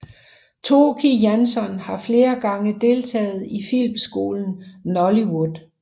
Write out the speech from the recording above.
Tóki Jansson har flere gange deltaget i filmskolen Nóllywood